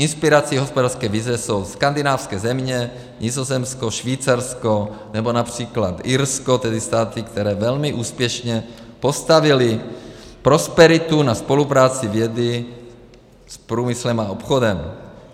Inspirací hospodářské vize jsou skandinávské země, Nizozemsko, Švýcarsko nebo například Irsko, tedy státy, které velmi úspěšně postavily prosperitu na spolupráci vědy s průmyslem a obchodem.